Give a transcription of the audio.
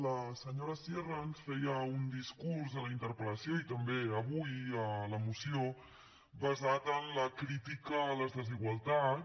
la senyora sierra ens feia un discurs a la interpel·lació i també avui a la moció basat en la crítica a les desigualtats